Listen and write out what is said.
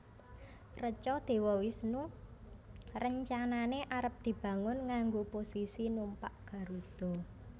Reca Dewa Wisnu rencanane arep dibangun nganggo posisi numpak Garuda